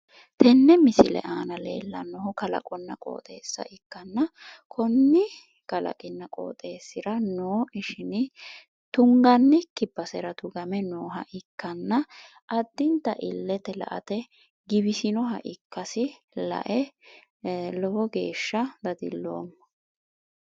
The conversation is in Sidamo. Tenne misile aana leellannohu kalaqonna qooxeessa ikkanna, konne kalaqinna qooxeessira noo ishini tungannikki basera tugame nooha ikkanna addinta illete la"ate giwisinoha ikkasi lae lowo geeshsha dadilloomma.